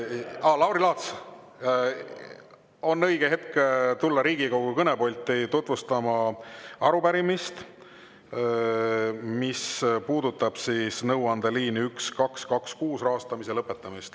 Aa, Lauri Laats, õige hetk tulla Riigikogu kõnepulti tutvustama arupärimist, mis puudutab nõuandeliini 1226 rahastamise lõpetamist.